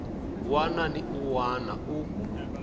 wana ni un wana u